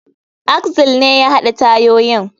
Axle ne ya haɗa tayoyin.